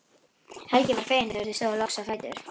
Helgi var feginn þegar þau stóðu loks á fætur.